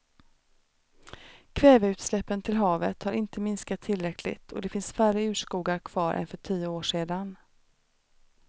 Kväveutsläppen till havet har inte minskat tillräckligt och det finns färre urskogar kvar än för tio år sedan.